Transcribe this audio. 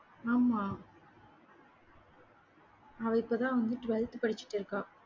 ஆமா. அவ இப்போ தான் வந்து twelfth படிச்சிட்டிருக்கா